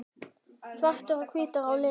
Svartir og hvítir á litinn.